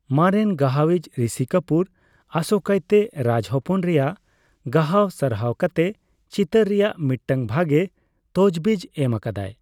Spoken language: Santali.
ᱢᱟᱨᱮᱱ ᱜᱟᱦᱟᱭᱤᱪ ᱨᱤᱥᱤ ᱠᱟᱹᱯᱩᱨ ᱟᱥᱚᱠᱟᱭᱛᱮ ᱨᱟᱡᱽ ᱦᱚᱯᱚᱱ ᱨᱮᱭᱟᱜ ᱜᱟᱦᱟᱣ ᱥᱟᱨᱦᱟᱣ ᱠᱟᱛᱮ ᱪᱤᱛᱟᱹᱨ ᱨᱮᱭᱟᱜ ᱢᱤᱫᱴᱟᱝ ᱵᱷᱟᱜᱮ ᱛᱚᱪᱵᱤᱡ ᱮᱢ ᱟᱠᱟᱫᱟᱭ ᱾